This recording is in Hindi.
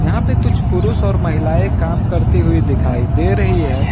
यहां पे कुछ पुरुष और महिलाएं काम करती हुई दिखाई दे रही है।